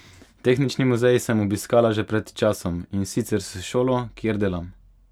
Tehnični muzej sem obiskala že pred časom, in sicer s šolo, kjer delam.